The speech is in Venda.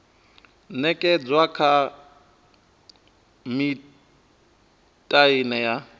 ṅekedzwa kha miṱa ine ya